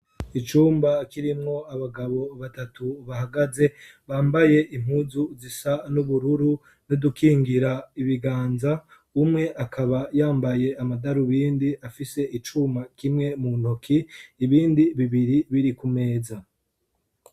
Icumba kirimwo abagabo batatu bahagaze bambaye impuzu zisa n'ubururu n' udukingira ibiganza, umwe akaba yambaye amadarubindi afise icuma kimwe mu ntoki, ibindi bibiri biri ku meza